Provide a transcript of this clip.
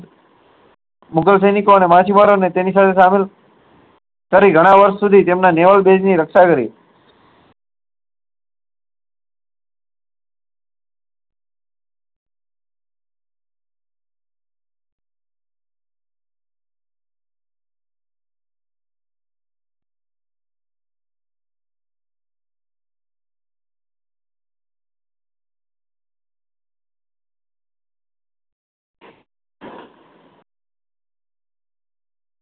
મુગલ સૈનિકો અને માછીમારો અને તેની સામે સામેલ ગણાવર્ષ સુધી તેમના નેવળ બેજ ની રક્ષા કરી